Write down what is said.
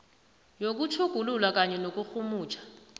yokutjhugulula kunye nokurhumutjha